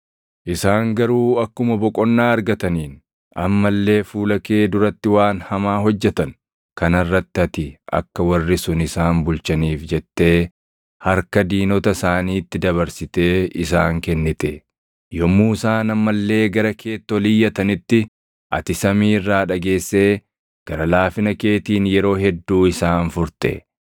“Isaan garuu akkuma boqonnaa argataniin amma illee fuula kee duratti waan hamaa hojjetan. Kana irratti ati akka warri sun isaan bulchaniif jettee harka diinota isaaniitti dabarsitee isaan kennite. Yommuu isaan amma illee gara keetti ol iyyatanitti ati samii irraa dhageessee gara laafina keetiin yeroo hedduu isaan furte.